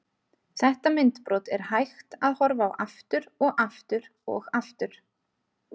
Þetta myndbrot er hægt að horfa á aftur og aftur og aftur.